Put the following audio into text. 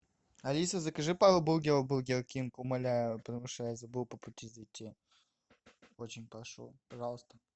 алиса закажу пару бургеров в бургер кинг умоляю потому что я забыл по пути зайти очень прошу пожалуйста